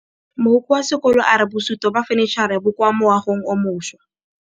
Mogokgo wa sekolo a re bosutô ba fanitšhara bo kwa moagong o mošwa.